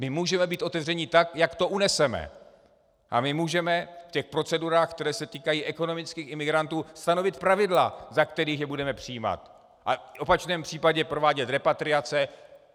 My můžeme být otevřeni tak, jak to uneseme, a my můžeme v těch procedurách, které se týkají ekonomických imigrantů, stanovit pravidla, za kterých je budeme přijímat a v opačném případě provádět repatriace.